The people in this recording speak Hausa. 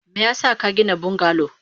Meyasa kagina bungalow?